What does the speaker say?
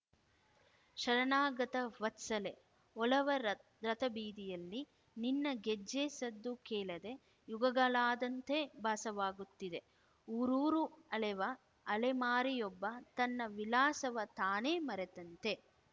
ಶರಣಾಗತ ವತ್ಸಲೆ ಒಲವ ರತ್ ರಥಬೀದಿಯಲ್ಲಿ ನಿನ್ನ ಗೆಜ್ಜೆ ಸದ್ದು ಕೇಳದೆ ಯುಗಗಳಾದಂತೆ ಭಾಸವಾಗುತ್ತಿದೆ ಊರೂರು ಅಲೆವ ಅಲೆಮಾರಿಯೊಬ್ಬ ತನ್ನ ವಿಳಾಸವ ತಾನೇ ಮರೆತಂತೆ